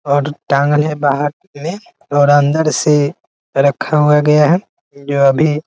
और टांगल है बाहर सीढ़ी और अंदर से रखा हुआ गया हैं जो अभी --